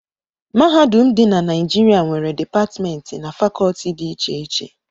Mahadum dị na Naijiria nwere Dipatmentị na Fakọọti dị iche iche